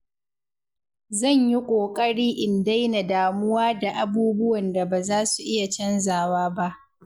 Zan yi ƙoƙari in daina damuwa da abubuwan da ba za su iya canzawa ba.